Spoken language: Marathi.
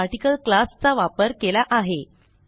मी आर्टिकल क्लास चा वापर केला आहे